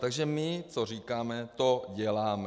Takže my co říkáme, to děláme.